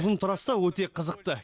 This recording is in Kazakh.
ұзын трасса өте қызықты